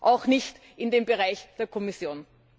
Auch nicht im Bereich der Kommission.